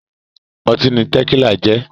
Ọtí ni Tẹ̀kílà jẹ́